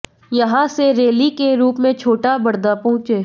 यहां से रैली के रूप में छोटा बड़दा पहुंचे